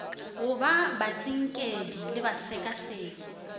go ba batsinkedi le basekaseki